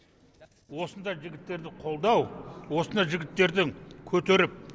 осындай жігіттерді қолдау осындай жігіттердің көтеріп